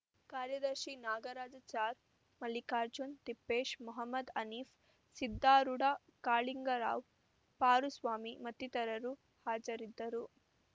ಕಾರ್ಯದರ್ಶಿ ನಾಗರಾಜಾಚಾರ್‌ ಮಲ್ಲಿಕಾರ್ಜುನ್‌ ತಿಪ್ಪೇಶ್‌ ಮಹಮ್ಮದ್‌ ಹನೀಫ್‌ ಸಿದ್ದಾರೂಡ ಕಾಳಿಂಗರಾವ್‌ ಪಾರುಸ್ವಾಮಿ ಮತ್ತಿತರರು ಹಾಜರಿದ್ದರು